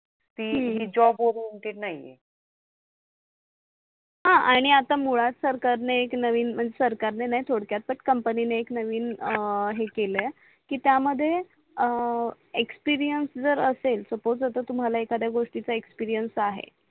हा आणि आता मुळात सरकारणे एक नवीन म्हणजे सरकारने नाही थोडक्यातच कंपनीणे एक नवीन हे केलय आहे की त्या मध्ये EXPERIENCE जर असेल सपोज आता तुम्हाला एखदया गोष्टीचा एक्सपिरियंस आहे